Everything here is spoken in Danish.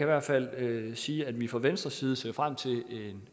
hvert fald sige at vi fra venstres side ser frem til